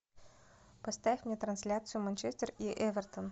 поставь мне трансляцию манчестер и эвертон